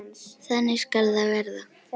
Þannig skal það verða.